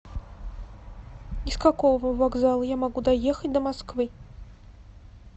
из какого вокзала я могу доехать до москвы